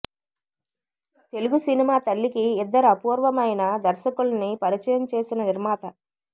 Telugu cinema తల్లికి ఇద్దరు అపూర్వమైన దర్శకుల్ని పరిచయం చేసిన నిర్మాత